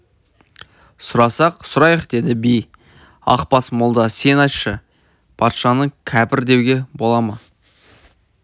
сұрасақ сұрайық деді би ақбас молда сен айтшы патшаны кәпір деуге бола ма